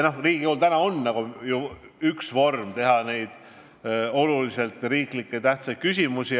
Riigikogul on ju olemas vorm, et arutada olulise tähtsusega riiklikke küsimusi.